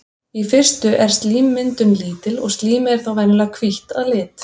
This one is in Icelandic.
Í fyrstu er slímmyndun lítil og slímið er þá venjulega hvítt að lit.